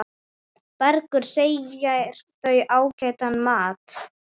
Bergur segir þau ágætan mat.